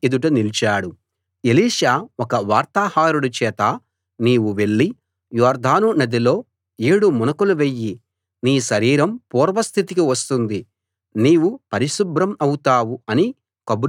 Elisha ఒక వార్తాహరుడి చేత నీవు వెళ్లి యొర్దాను నదిలో ఏడు మునకలు వెయ్యి నీ శరీరం పూర్వస్థితికి వస్తుంది నీవు పరిశుభ్రం అవుతావు అని కబురు చేశాడు